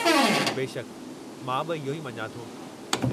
बेशकि, मां बि इहो ई मञा थो।